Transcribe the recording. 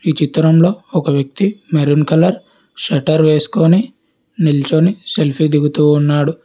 ఈ చిత్రంలో ఒక వ్యక్తి మెరూన్ కలర్ షట్టర్ వేసుకొని నిల్చోని సెల్ఫీ దిగుతూ ఉన్నాడు.